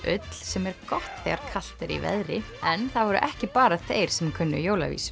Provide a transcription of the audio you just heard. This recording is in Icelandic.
ull sem er gott þegar kalt er í veðri en það voru ekki bara þeir sem kunnu